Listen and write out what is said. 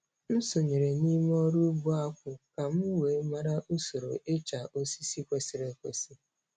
M sonyeere n'ịmụ ọrụ ugbo akpụ ka m wee mara usoro ịcha osisi kwesịrị ekwesị.